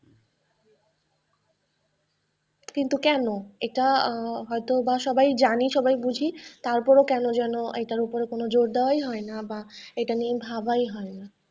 কিন্তু কেন? এইটা হয়তো বা সবাই জানি, সবাই বুঝি তার পরেও কেন যেন এটার উপর কোন জোর দেওয়াই হয় না বা এটা নিয়ে ভাবাই হয় না।